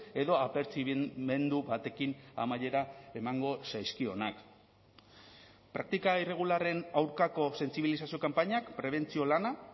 edo apertzibimendu batekin amaiera emango zaizkionak praktika irregularren aurkako sentsibilizazio kanpainak prebentzio lana